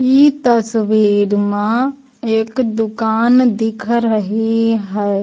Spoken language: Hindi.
इ तस्वीर मां एक दुकान दिख रही है।